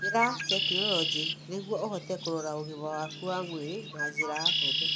Hũthĩra tekinolonjĩ nĩguo ũhote kũrora ũgima waku wa mwĩrĩ na njĩra hũthũ.